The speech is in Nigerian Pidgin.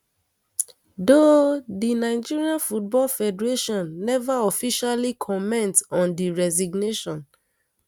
though di nigeria football federation neva officially comment on di resignation